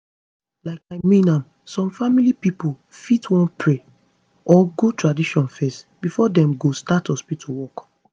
like i mean am some family pipo fit want to pray or go traditional fezz before dem go start hospitu work